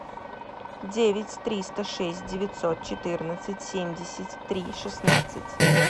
девять триста шесть девятьсот четырнадцать семьдесят три шестнадцать